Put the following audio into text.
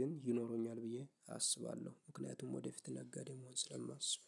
ግን ይኖረኛል ብዬ አስባለሁ። ምክንያቱም ወደፊት ነጋዴ መሆን ስለማስብ